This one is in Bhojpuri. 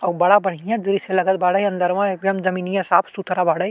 अउ बाड़ा बढियाँ दृश्य लागल बाड़े। अन्दरवा एकदम जमिनियाँ साफ सुथरा बाड़े।